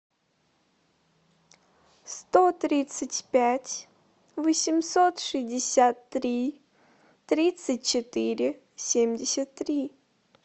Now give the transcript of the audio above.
сто тридцать пять восемьсот шестьдесят три тридцать четыре семьдесят три